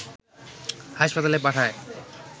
হাসপাতালে পাঠায়